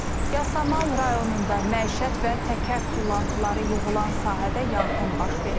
Yasamal rayonunda məişət və təkər tullantıları yığılan sahədə yanğın baş verib.